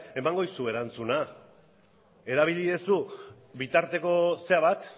emango dizu erantzuna erabili duzu bitarteko bat